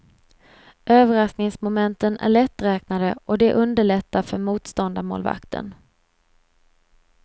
Överraskningsmomenten är lätträknade och det underlättar för motståndarmålvakten.